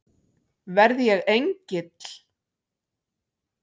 Verð ég engill?